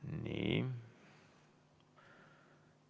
Nii.